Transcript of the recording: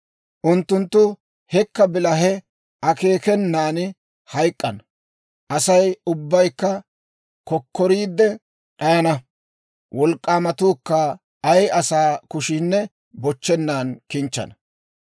Unttunttu hekka bilahe akeekenan hayk'k'ana; Asay ubbaykka kokkoriide d'ayana; wolk'k'aamatuukka ay asaa kushiinne bochchennan kichchana.